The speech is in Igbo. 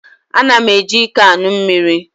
Ana m eji iko aṅụ mmiri.